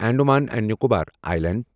Andaman and Nicobar islands